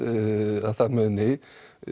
að það muni